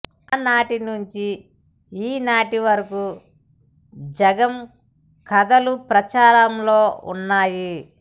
ఆనాటి నుండి ఈ నాటివరకు జంగం కథలు ప్రచారంలో ఉన్నాయి